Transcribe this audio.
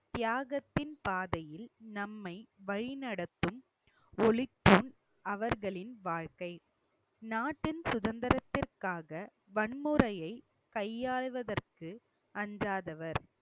தியாகத்தின் பாதையில் நம்மை வழிநடத்தும் ஒளிக்கும் அவர்களின் வாழ்க்கை நாட்டின் சுதந்திரத்திற்காக வன்முறையை கையாளுவதற்கு அஞ்சாதவர்